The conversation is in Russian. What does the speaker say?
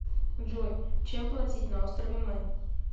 джой чем платить на острове мэн